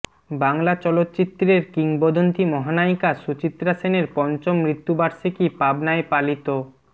বাংলা চলচ্চিত্রের কিংবদন্তি মহানায়িকা সুচিত্রা সেনের পঞ্চম মৃত্যু বার্ষিকী পাবনায় পালিত